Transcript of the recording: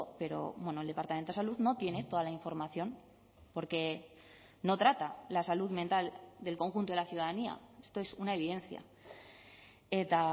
pero el departamento de salud no tiene toda la información porque no trata la salud mental del conjunto de la ciudadanía esto es una evidencia eta